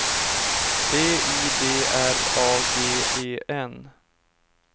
B I D R A G E N